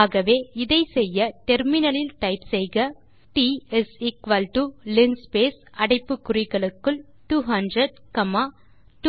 ஆகவே இதை செய்ய நாம் முனையத்தில் டைப் செய்யலாம் t is equal to linspace அடைப்பு குறிகளுக்குள் 200 காமா